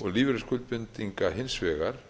og lífeyrisskuldbindinga hins vegar